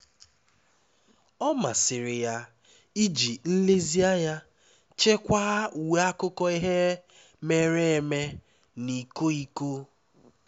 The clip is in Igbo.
ọ masịrị ya iji nlezianya chekwaa uwe akụkọ ihe mere eme na iko iko